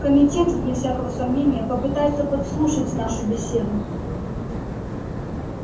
комитет вне всякого сомнения попытается подслушать нашу беседу